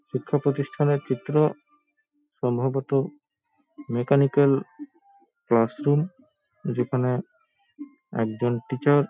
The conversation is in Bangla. শিক্ষা প্রতিষ্ঠানের চিত্র। সম্ভবতঃ মেকানিক্যাল ক্লাস রুম যেখানে একজন টিচার --